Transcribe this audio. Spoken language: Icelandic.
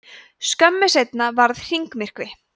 skömmu seinna varð hringmyrkvi